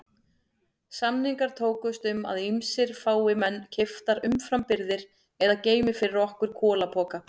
Samningar tókust um að ýmist fái menn keyptar umframbirgðir eða geymi fyrir okkur kolapoka.